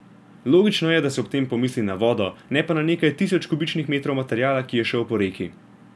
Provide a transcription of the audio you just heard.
Logično je, da se ob tem pomisli na vodo, ne pa na nekaj tisoč kubičnih metrov materiala, ki je šel po reki.